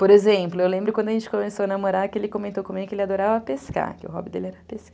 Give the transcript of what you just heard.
Por exemplo, eu lembro quando a gente começou a namorar, que ele comentou comigo que ele adorava pescar, que o hobby dele era pescar.